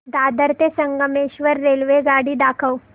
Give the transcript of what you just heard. दादर ते संगमेश्वर रेल्वेगाडी दाखव